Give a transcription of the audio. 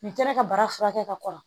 Ni kɛra ka bara furakɛ ka kɔrɔ